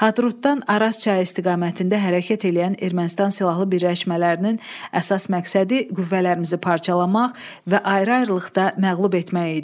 Hadrutdan Araz çayı istiqamətində hərəkət eləyən Ermənistan silahlı birləşmələrinin əsas məqsədi qüvvələrimizi parçalamaq və ayrı-ayrılıqda məğlub etmək idi.